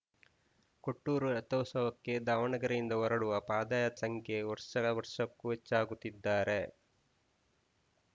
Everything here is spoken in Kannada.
ಕೊಟ್ಟೂರು ರಥೋತ್ಸವಕ್ಕೆ ದಾವಣಗೆರೆಯಿಂದ ಹೊರಡುವ ಪಾದಯಾತ್ರಿಗಳ ಸಂಖ್ಯೆ ವರ್ಷ ವರ್ಷಕ್ಕೂ ಹೆಚ್ಚಾಗುತ್ತಿದ್ದಾರೆ